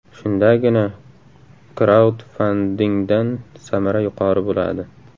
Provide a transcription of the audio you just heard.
Shundagina kraudfandingdan samara yuqori bo‘ladi.